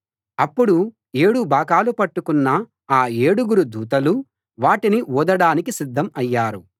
అప్పుడు ఏడు బాకాలు పట్టుకున్న ఆ ఏడుగురు దూతలు వాటిని ఊదడానికి సిద్ధం అయ్యారు